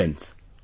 Friends,